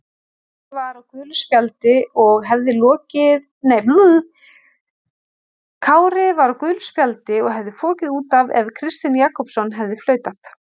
Kári var á gulu spjaldi og hefði fokið út af ef Kristinn Jakobsson hefði flautað.